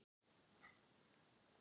Allt í einu tók þetta enda.